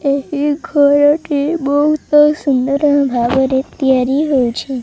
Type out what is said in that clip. ଏହି ଘରଟି ବହୁତ ସୁନ୍ଦର ଭାବରେ ତିଆରି ହଉଛି।